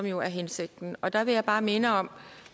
jo er hensigten der vil jeg bare minde om